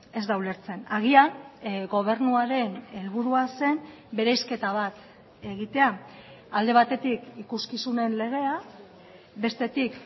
ez da ulertzen agian gobernuaren helburua zen bereizketa bat egitea alde batetik ikuskizunen legea bestetik